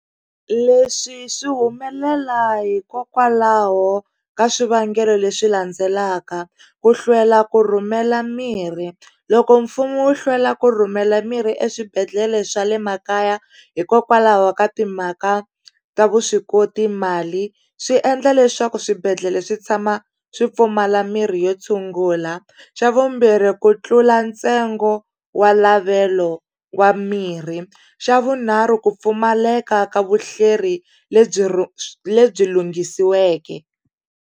Leswi swi humelela hikokwalaho ka swivangelo leswi landzelaka ku hlwela ku rhumela mirhi loko mfumo wo hlwela ku rhumela mirhi eswibedhlele swa le makaya hikokwalaho ka timhaka ta vuswikoti mali swi endla leswaku swibedhlele swi tshama swi pfumala mirhi yo tshungula xa vumbirhi ku tlula ntsengo wa lavelo wa mirhi xa vunharhu ku pfumaleka ka vuhleri lebyi lebyi lunghisiweke.